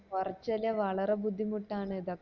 കൊറച്ചള്ള വളരെ ബുദ്ധിമുട്ട് ആണ്